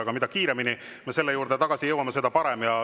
Aga mida kiiremini me selle juurde tagasi jõuame, seda parem.